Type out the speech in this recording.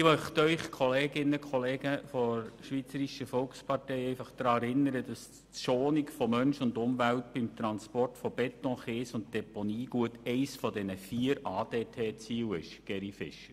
Ich möchte die Mitglieder der Schweizerischen Volkspartei einfach daran erinnern, dass die Schonung von Mensch und Umwelt beim Transport von Beton, Kies und Deponiegut eines der vier ADT-Ziele ist.